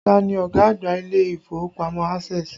Ta ni ọ̀gá àgbà ilé ìfowópamọ́ Access?